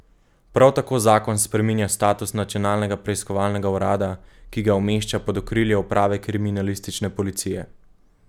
Prav tako zakon spreminja status Nacionalnega preiskovalnega urada, ki ga umešča pod okrilje uprave kriminalistične policije.